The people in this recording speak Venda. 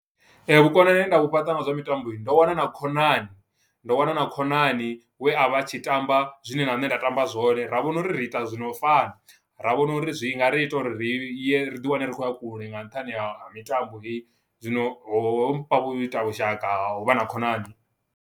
Vhukonani he nda vhu fhaṱa nga zwa mitambo ndo wana na khonani ndo wana na khonani we a vha tshi tamba zwine na nne nda tamba zwone, ra vhona uri ri ita zwino fana ra vhona uri zwi nga ri ita uri ri ye ri ḓi wane ri khoya kule nga nṱhani ha mitambo he zwino ho mpha vhu ita vhushaka huvha na khonani.